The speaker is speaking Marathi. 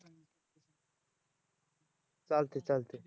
चालतंय चालतंय